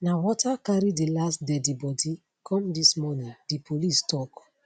na water carry di last deadi bodi come dis morning di police tok